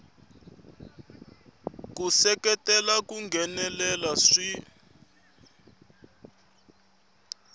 ku seketela ku nghenelela swi